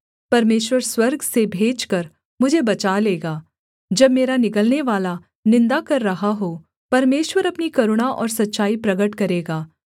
परमेश्वर स्वर्ग से भेजकर मुझे बचा लेगा जब मेरा निगलनेवाला निन्दा कर रहा हो सेला परमेश्वर अपनी करुणा और सच्चाई प्रगट करेगा